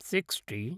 sixty